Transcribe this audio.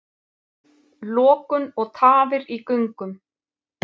Lokun og tafir í göngum